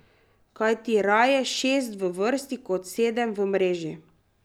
Kajti raje šest v vrsti kot sedem v mreži.